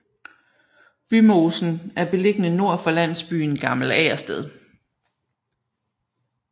Bymosen er beliggende nord for landsbyen Gammel Agersted